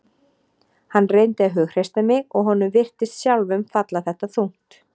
Hann reyndi að hughreysta mig og honum virtist sjálfum falla þetta þungt.